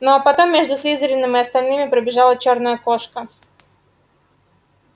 ну а потом между слизерином и остальными пробежала чёрная кошка